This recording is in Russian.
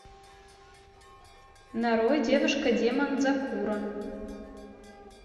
нарой девушка демон дзакуро